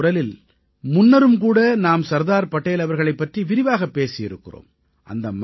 மனதின் குரலில் முன்னரும் கூட நாம் சர்தார் படேல் அவர்களைப் பற்றி விரிவாகப் பேசியிருக்கிறோம்